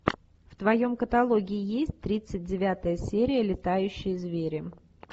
в твоем каталоге есть тридцать девятая серия летающие звери